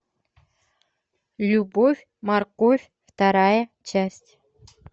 любовь морковь вторая часть